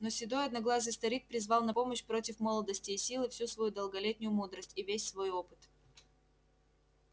но седой одноглазый старик призвал на помощь против молодости и силы всю свою долголетнюю мудрость и весь свой опыт